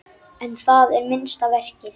En það er minnsta verkið.